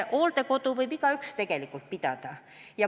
Hooldekodu võib igaüks pidada.